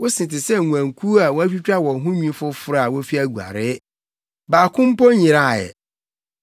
Wo se te sɛ nguankuw a wɔatwitwa wɔn ho nwi foforo, a wofi aguaree. Baako mpo nyeraa ɛ.